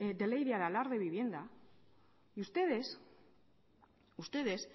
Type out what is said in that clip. de ley de aralar de vivienda y ustedes